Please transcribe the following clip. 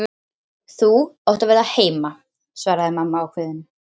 Þú átt að vera heima, svaraði mamma ákveðin.